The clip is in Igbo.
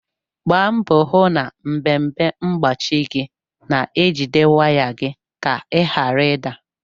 Gbaa mbọ hụ na mpempe mgbachi gị na-ejide waya gị ka ị ghara ị da.